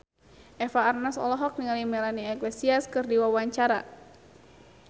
Eva Arnaz olohok ningali Melanie Iglesias keur diwawancara